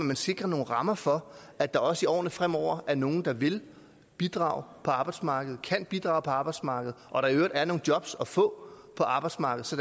man sikrer nogle rammer for at der også i årene fremover er nogle der vil bidrage på arbejdsmarkedet og kan bidrage på arbejdsmarkedet og at der i øvrigt er nogle job at få på arbejdsmarkedet så